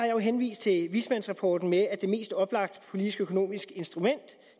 jo henvist til vismandsrapporten med at det mest oplagte politiske økonomiske instrument